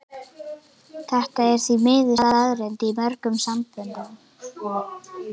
Þetta er því miður staðreynd í mörgum samböndum.